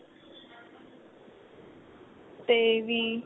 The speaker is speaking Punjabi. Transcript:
ਤੇ ਵੀ